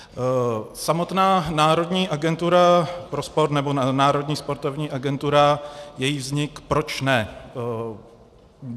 Samotná národní agentura pro sport, nebo Národní sportovní agentura, její vznik, proč ne?